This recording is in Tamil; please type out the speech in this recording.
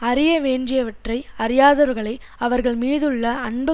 அறியவேண்டியவற்றை அறியாதவர்களை அவர்கள் மீதுள்ள அன்பு